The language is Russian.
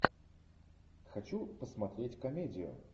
хочу посмотреть комедию